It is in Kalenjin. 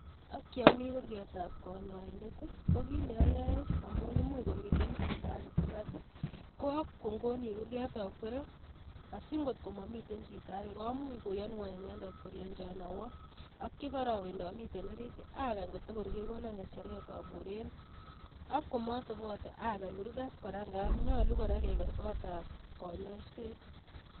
Ak ye ami kurgetab konyoindet, ko kiit neyoe amu imuch komiten chito age kurgat, ko akongoni kurget akwere asingotko matiten chito age komuch koyanwo inendet kolecho awo. Ak yo ngarawen amiten orit agany kotor kegono ng'echeret aburen, ak komotebote ager kurget kora ngab nyalu keger kotab konyoiset.